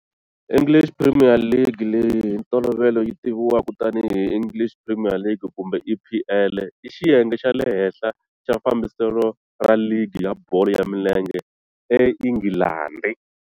English Premier League, leyi hi ntolovelo yi tiviwaka tanihi English Premier League kumbe EPL, i xiyenge xa le henhla xa fambiselo ra ligi ya bolo ya milenge eNghilandhi.